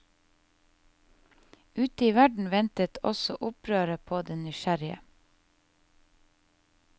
Ute i verden ventet også opprøret på den nysgjerrige.